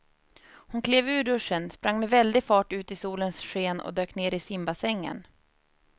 Hon klev ur duschen, sprang med väldig fart ut i solens sken och dök ner i simbassängen.